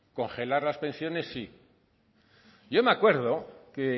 congelar las pensiones sí yo me acuerdo que